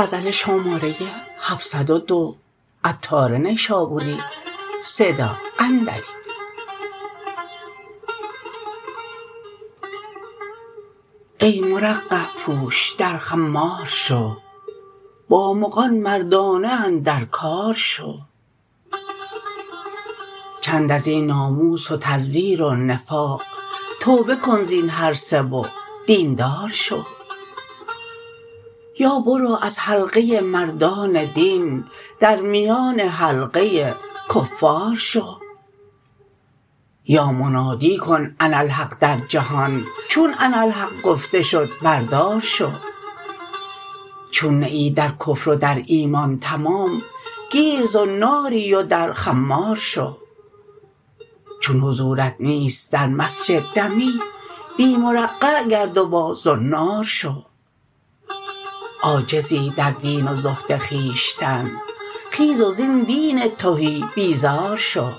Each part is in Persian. ای مرقع پوش در خمار شو با مغان مردانه اندر کار شو چند ازین ناموس و تزویر و نفاق توبه کن زین هر سه و دین دار شو یا برو از حلقه مردان دین در میان حلقه کفار شو یا منادی کن اناالحق در جهان چون اناالحق گفته شد بر دار شو چون نه ای در کفر و در ایمان تمام گیر زناری و در خمار شو چون حضورت نیست در مسجد دمی بی مرقع گرد و با زنار شو عاجزی در دین و زهد خویشتن خیز و زین دین تهی بیزار شو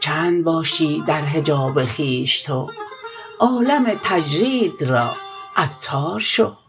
چند باشی در حجاب خویش تو عالم تجرید را عطار شو